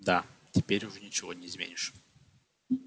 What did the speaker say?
да теперь уже ничего не изменишь